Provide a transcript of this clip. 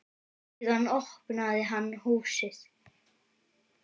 Síðan opnaði hann húsið.